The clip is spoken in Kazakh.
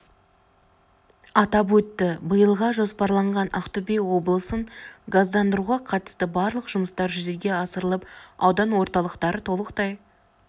атап өтті биылға жоспарланған ақтөбе облысын газдандыруға қатысты барлық жұмыстар жүзеге асырылып аудан орталықтары толықтай